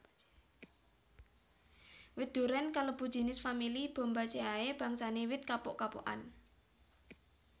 Wit durén kalebu jinis famili Bombaceae bangsane wit kapuk kapukan